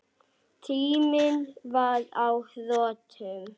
Tíminn var á þrotum.